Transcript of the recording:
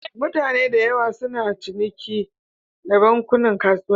Mutane da yawa suna ciniki da bankunan kasuwanci.